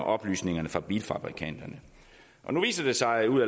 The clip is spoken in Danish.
oplysningerne fra bilfabrikanterne nu viser det sig ud